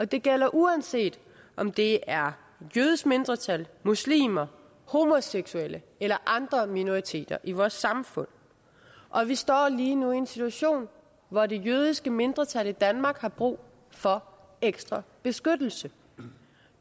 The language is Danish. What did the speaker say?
det gælder uanset om det er jødiske mindretal muslimer homoseksuelle eller andre minoriteter i vores samfund og vi står lige nu i en situation hvor det jødiske mindretal i danmark har brug for ekstra beskyttelse